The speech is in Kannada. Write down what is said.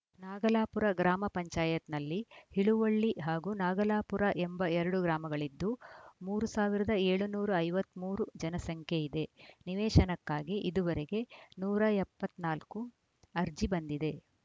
ನಾಗಲಾಪುರ ಗ್ರಾಮ ಪಂಚಾಯತ್ ನಲ್ಲಿ ಹಿಳುವಳ್ಳಿ ಹಾಗೂ ನಾಗಲಾಪುರ ಎಂಬ ಎರಡು ಗ್ರಾಮಗಳಿದ್ದು ಮೂರ್ ಸಾವಿರದ ಏಳುನೂರ ಐವತ್ತ್ ಮೂರು ಜನಸಂಖ್ಯೆ ಇದೆ ನಿವೇಶನಕ್ಕಾಗಿ ಇದುವರೆಗೆ ನೂರ ಎಪ್ಪತ್ತ್ ನಾಲ್ಕು ಅರ್ಜಿ ಬಂದಿದೆ